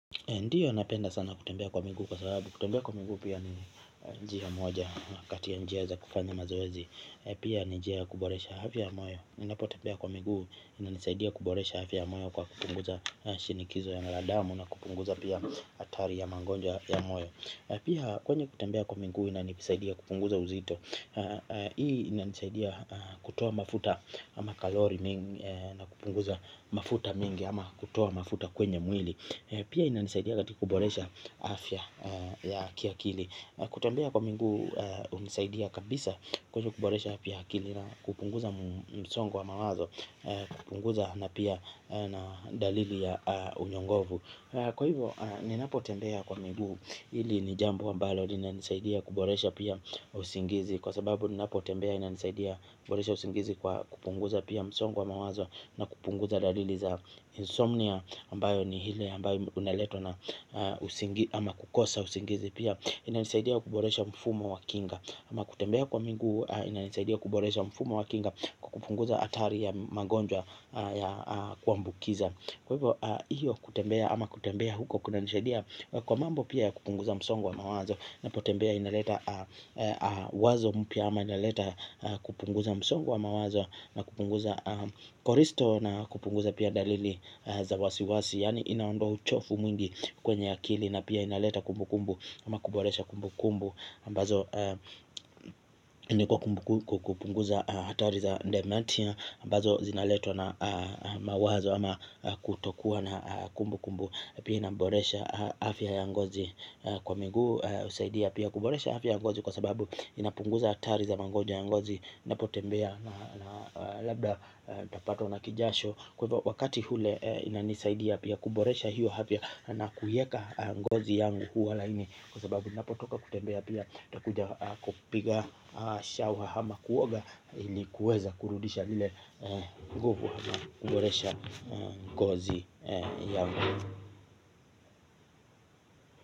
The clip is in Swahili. Ndiyo napenda sana kutembea kwa miguu kwa sababu, kutembea kwa miguu pia ni njia moja kati ya njia za kufanya mazoezi pia ni njia ya kuboresha afya ya moyo ninapotembea kwa miguu inanisaidia kuboresha afya ya moyo kwa kupunguza shinikizo ya damu na kupunguza pia hatari ya magonjwa ya afya ya moyo na pia kwenye kutembea kwa miguu inanisaidia kupunguza uzito hii inanisaidia kutoa mafuta ama kalori mingi na kupunguza mafuta mingi ama kutoa mafuta kwenye mwili. Pia inanisaidia katika kuboresha afya ya kiakili. Kutembea kwa miguu hunisaidia kabisa kwenye kuboresha pia akili na kupunguza msongo wa mawazo. Kupunguza na pia dalili ya unyongovu. Kwa hivyo ninapo tembea kwa miguu. Hili ni jambo ambalo linanisaidia kuboresha pia usingizi. Kwa sababu ninapo tembea ina nisaidia kuboresha usingizi kwa kupunguza pia msongo wa mawazo. Na kupunguza dalili za insomnia ambayo ni ile ambayo unaletwa na kukosa usingizi pia. Inanisaidia kuboresha mfumo wa kinga. Ama kutembea kwa mingu inanisaidia kuboresha mfumo wa kinga kwa kupunguza hatari ya magonjwa ya kuambukiza. Kwa hivyo hiyo kutembea ama kutembea huko kunanisaidia. Kwa mambo pia ya kupunguza msongo wa mawazo. Napotembea inaleta wazo mpya ama inaleta kupunguza msongo wa mawazo. Na kupunguza cholestrol na kupunguza pia dalili za wasi wasi. Yaani inaondoa uchovu mwingi kwenye akili. Na pia inaleta kumbu kumbu. Ama kuboresha kumbu kumbu ambazo kukupunguza hatari za dimentia ambazo zinaletwa na mawazo ama kutokuwa na kumbu kumbu. Pia inaboresha afya ya ngozi. Kwa miguu husaidia pia kuboresha afya ya ngozi. Kwa sababu inapunguza hatari za mangonja ya ngozi. Napotembea labda nitapatwa na kijasho. Kwa hivo wakati ule inanisaidia pia kuboresha hiyo afya. Na kuiweka ngozi yangu huwa laini. Kwa sababu napotoka kutembea pia nitakuja kupiga shower ama kuoga. Ili kuweza kurudisha ile nguvu. Kuboresha ngozi yangu.